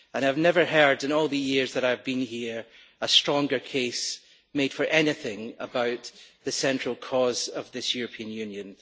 I have never heard, in all the years that I have been here, a stronger case made for anything about the central cause of this European Union.